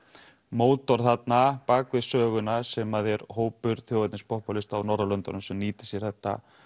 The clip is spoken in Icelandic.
mótor þarna bak við söguna sem að er hópur á Norðurlöndunum sem nýta sér þetta